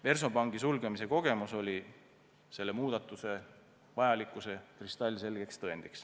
Versobanki sulgemise kogemus oli selle muudatuse vajalikkuse kristallselge tõend.